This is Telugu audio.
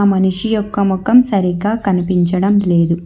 మనిషి యొక్క మొఖం సరిగ్గా కనిపించడం లేదు.